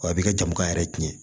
Wa a b'i ka jamana yɛrɛ tiɲɛ